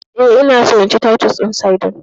Eh, ina so in ci titus din sardine.